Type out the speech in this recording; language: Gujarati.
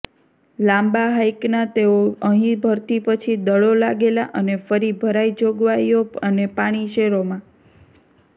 લાંબા હાઇકનાં તેઓ અહીં ભરતી પછી દળો લાગેલા અને ફરી ભરાઈ જોગવાઈઓ અને પાણી શેરોમાં